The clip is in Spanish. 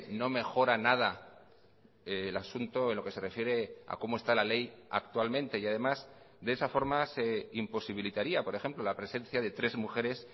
no mejora nada el asunto en lo que se refiere a cómo está la ley actualmente y además de esa forma se imposibilitaría por ejemplo la presencia de tres mujeres